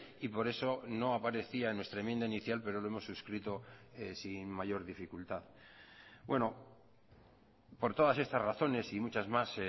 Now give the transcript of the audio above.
y por eso no aparecía en nuestra enmienda inicial pero lo hemos suscrito sin mayor dificultad bueno por todas estas razones y muchas más